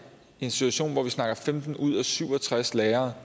i en situation hvor vi snakker om at femten ud af syv og tres lærere